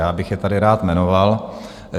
Já bych je tady rád jmenoval.